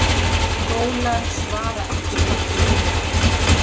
Skólar svara ekki kalli iðnaðarins